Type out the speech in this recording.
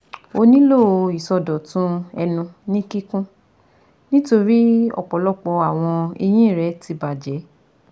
O nílò ìsọdọ̀tun ẹnu ní kíkún nítorí ọ̀pọ̀lọpọ̀ àwọn eyín rẹ ti bàjẹ́